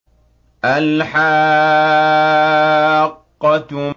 الْحَاقَّةُ